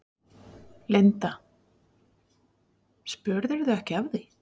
Linda: Spurðirðu ekki af því?